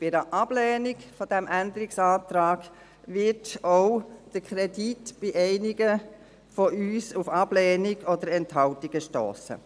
Bei einer Ablehnung dieses Änderungsantrags wird auch der Kredit bei einigen von uns auf Ablehnung oder Enthaltungen stossen.